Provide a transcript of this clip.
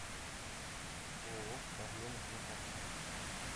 ооо орленок на карте